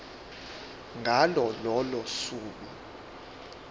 ngalo lolo suku